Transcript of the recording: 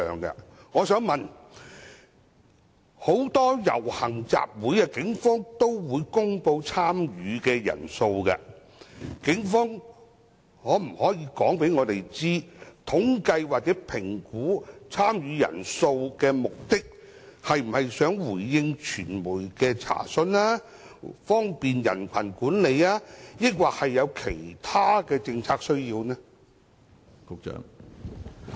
警方曾就很多遊行集會公布參與人數，當局可否告知本會，統計或評估參與集會人數的目的，是為了要回應傳媒的查詢、方便人群管理或有其他政策需要？